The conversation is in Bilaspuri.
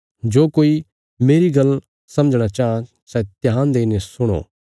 जो कोई मेरी गल्ल समझणा चाँह सै ध्यान देईने सुणो